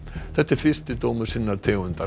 þetta er fyrsti dómur sinnar tegundar